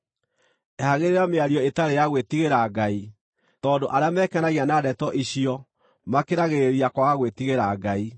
Ehagĩrĩra mĩario ĩtarĩ ya gwĩtigĩra Ngai, tondũ arĩa mekenagia na ndeto icio makĩragĩrĩria kwaga gwĩtigĩra Ngai.